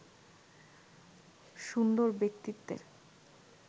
সুন্দর ব্যক্তিত্বের